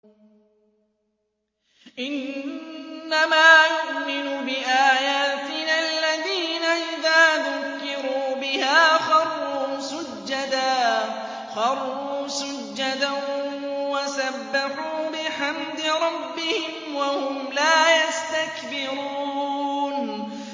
إِنَّمَا يُؤْمِنُ بِآيَاتِنَا الَّذِينَ إِذَا ذُكِّرُوا بِهَا خَرُّوا سُجَّدًا وَسَبَّحُوا بِحَمْدِ رَبِّهِمْ وَهُمْ لَا يَسْتَكْبِرُونَ ۩